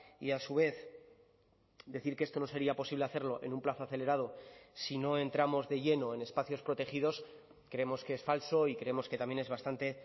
y a su vez decir que esto no sería posible hacerlo en un plazo acelerado si no entramos de lleno en espacios protegidos creemos que es falso y creemos que también es bastante